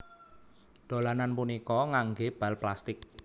Dolanan punika nganggé bal plastik